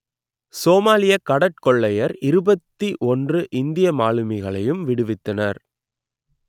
சோமாலியக் கடற்கொள்ளையர் இருபத்தி ஒன்று இந்திய மாலுமிகளையும் விடுவித்தனர்